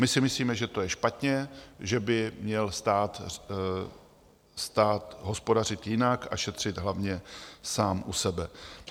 My si myslíme, že to je špatně, že by měl stát hospodařit jinak a šetřit hlavně sám u sebe.